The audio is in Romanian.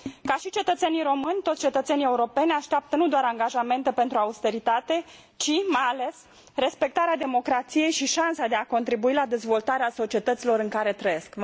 Ca și cetățenii români, toți cetățenii europeni așteaptă nu doar angajante pentru austeritate ci, mai ales, respectarea democrației și șansa de a contribui la dezvoltarea societăților în care trăiesc.